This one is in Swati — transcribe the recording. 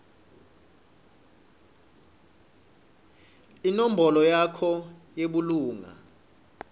inombolo yakho yebulunga